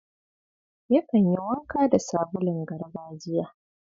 Yakan yi wanka da sabulun gargajiya.